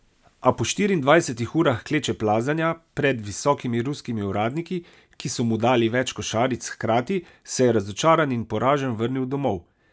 To nenehno iskanje krivca, množica obtožb v njeni glavi, vse to ji prav nič ne koristi.